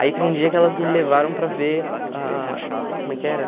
Aí teve um dia que elas me levaram para ver a... Como é que era?